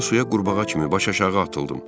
Mən suya qurbağa kimi başı aşağı atıldım.